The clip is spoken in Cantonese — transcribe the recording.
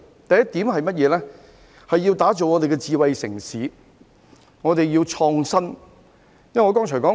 第一點，要打造香港成為智慧城市，便要創新。